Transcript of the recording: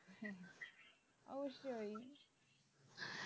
অবশ্যই